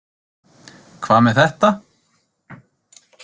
Hvað með þetta?